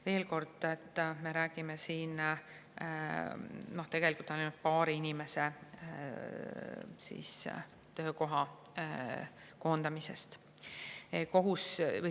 " Veel kord, et me räägime siin tegelikult ainult paari inimese töökoha koondamisest.